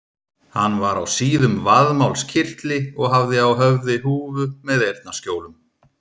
Hann var á síðum vaðmálskyrtli og hafði á höfði húfu með eyrnaskjólum.